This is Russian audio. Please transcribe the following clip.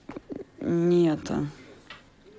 не это